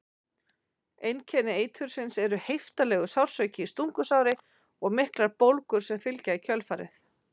Einkenni eitursins eru heiftarlegur sársauki í stungusári og miklar bólgur sem fylgja í kjölfarið.